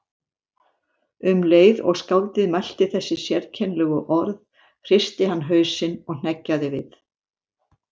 Um leið og skáldið mælti þessi sérkennilegu orð hristi hann hausinn og hneggjaði við.